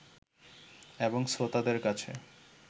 এবং শ্রোতাদের কাছে